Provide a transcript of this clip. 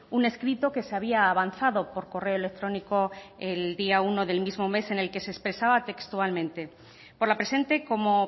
un escrito que se había avanzado por correo electrónico el día uno del mismo mes en el que se expresaba textualmente por la presente como